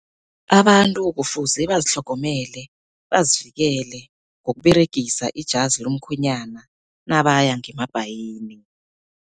Abantu kufuze bazitlhogomele, bazivikele ngokuberegisa ijazi lomkhwenyana nabaya ngemabhayini.